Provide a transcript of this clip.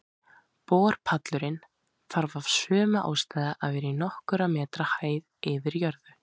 Borpallurinn þarf af sömu ástæðu að vera í nokkurra metra hæð yfir jörðu.